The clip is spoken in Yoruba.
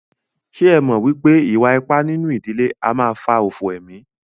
Ṣé ẹ mọ̀ wípé ìwà ipá nínú ìdílé a máà fà òfò emí?